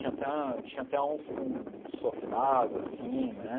Tinha até tinha até uns com sofás, assim, né?